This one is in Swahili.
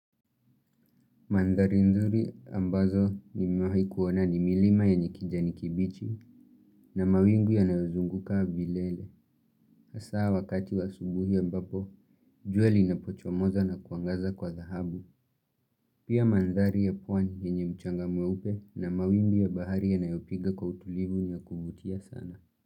Mandhari nzuri ambazo nimewahi kuona ni milima yenye kijani kibichi na mawingu yanaozunguka vilele. Hasa wakati wa asubuhi ambapo, jua lina pochomoza na kuangaza kwa dhaahabu. Pia mandari ya puani enye mchanga mweupe na mawingu ya bahari ya nayopiga kwa utulivu na kuvutia sana.